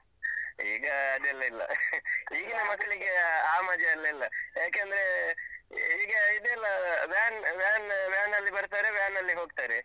ಈಗ ಅದೆಲ್ಲ ಇಲ್ಲ. ಈಗಿನ ಮಕ್ಳಿಗೆ ಆ ಮಜಾ ಎಲ್ಲ ಇಲ್ಲ. ಯಾಕಂದ್ರೇ ಈಗ ಇದೆಲ್ಲ van van van ಅಲ್ಲಿ ಬರ್ತಾರೆ, van ಹೋಗ್ತಾರೆ.